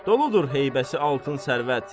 Doludur heybəsi altın sərvət.